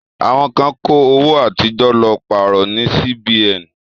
Àwọn kan kó owó àtijọ́ lọ pàrọ̀ ní Sí-Bi-Ẹ̀n.